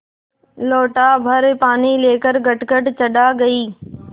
लोटाभर पानी लेकर गटगट चढ़ा गई